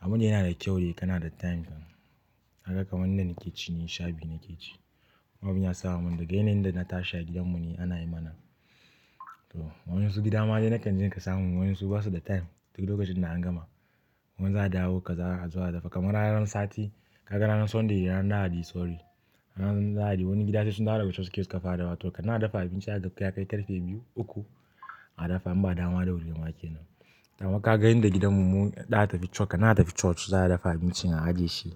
Amman yana da kyau kana da time din kaga kamar nida nake ci ni sha biyu nake ci. Abunda yasa mun dadai yanayin da na tashi a gidanmu ne ana yi mana. To wa yan gida ma dau na kan je ka samu wasu basu da time duk lokacin da an gama. Kaman za a dawo kaza azo a dafa kamar ranar sati. Kaga ranar Sunday ranar lahadi sorry. Ranar lahadi wani gida sai sun dawo da coci kafin a dawo to kana dafa abinci haka ya kai karfe biyu uku a dafa in ba a dawo ma da wuri ba wake nan. Amma ka ga yanda gidanmu mu ɗa tafi coc kan nan atafi coc za a dafa abinci an ajiye shi.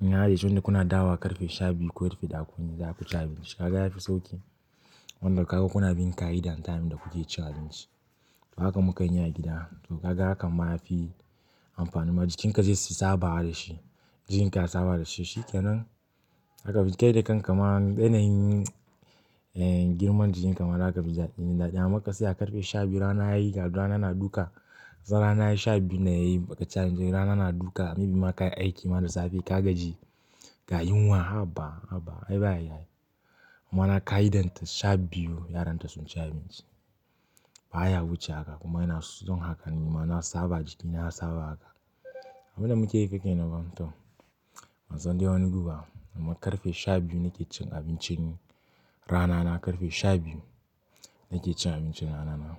In an ajiye yanda kuna dawo wa karfe sha biyu ko karfe ɗaya zaku ci abinci. Ka ga yafi sauki. Wanda ka ga kuna bin ƙa'ida time da kuke cin abinci. Haka mukan yi a gida. To ka ga hakan ma yafi amfanin. Jikin ka zai saba da shi. Jikinka ya saba da shi. Shi kenan haka kai da kan ka ma yanayin girman jikinka ma zaka afin. Amma ka saya karfe sha biyu rana yayi ga rana na duka. Zan rana yayi sha biyu na yayi bakaci rana na duka. Maybe ma kayi aiki da safe ka gaji ga yunwa haba haba ai bayayi ai mamana ƙa'idan ta sha biyu yaran ta sun ci abinci. Ba ya wuce haka kuma ina son haka ni ma na saba jikina ya saba haka. Abunda muke yi fa kenanfa. To bansandai wani gu ba amma karfe sha biyu nake cin abincin rana na karfe sha biyu nake cin abincin rana na.